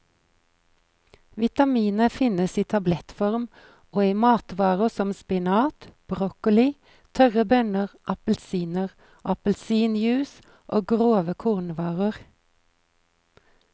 Vitaminet finnes i tablettform og i matvarer som spinat, broccoli, tørre bønner, appelsiner, appelsinjuice og grove kornvarer.